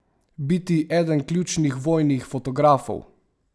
Biti eden ključnih vojnih fotografov?